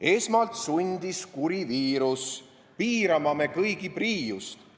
Esmalt sundis kuri viirus piirama me kõigi priiust.